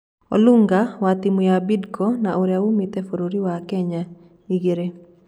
Olunga (wa tĩmũ ya Bidco na ũrĩa wumĩte bũrũri wa Kenya) Igĩrĩ.